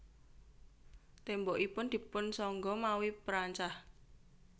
Tembokipun dipunsangga mawi perancah